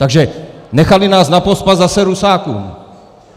Takže nechali nás napospas zase Rusákům!